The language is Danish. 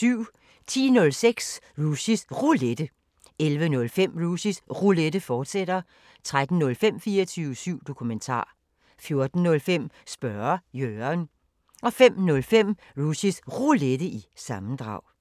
10:05: Rushys Roulette 11:05: Rushys Roulette, fortsat 13:05: 24syv Dokumentar 14:05: Spørge Jørgen 05:05: Rushys Roulette – sammendrag